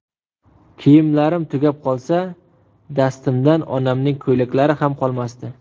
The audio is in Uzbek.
Kiyimlarim tugab qolsa, dastimdan onamning ko‘ylaklari ham qolmasdi.